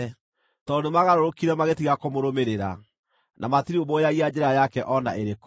tondũ nĩmagarũrũkire magĩtiga kũmũrũmĩrĩra, na matirũmbũyagia njĩra yake o na ĩrĩkũ.